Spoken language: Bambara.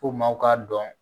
F'u maaw k'a dɔn